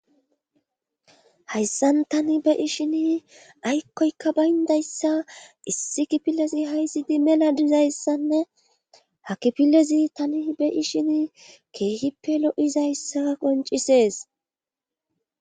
Hayssan tani be ishini aykkoyka bayndayssa issi kipilezi haysidi mela dizayssanne hakipilezi tani be ishini keehippe lo'izayssa qoncisees